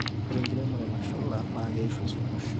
ore enkiremore nashula naa keishu esumash